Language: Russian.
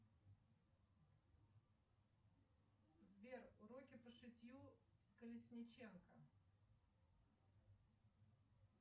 сбер уроки по шитью с колесниченко